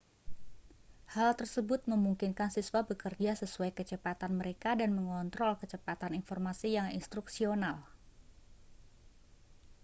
hal tersebut memungkinkan siswa bekerja sesuai kecepatan mereka dan mengontrol kecepatan informasi yang instruksional